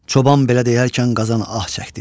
Çoban belə deyərkən qazan ah çəkdi.